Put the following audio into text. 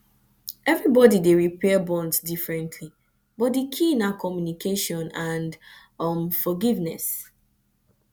everybody dey repair bonds differently but di key na communication and um forgiveness